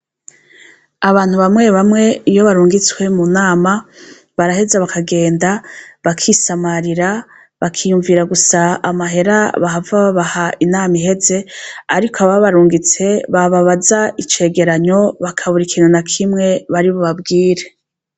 Abantu bamwe bamwe iyo barungitswe mu nama baraheza bakagenda bakisamarira bakiyumvira gusa amahera bahava babaha inama iheze, ariko aba barungitse bababaza icegeranyo bakabura ikinana kimwe baribo babwire.